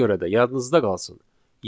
Ona görə də yadınızda qalsın.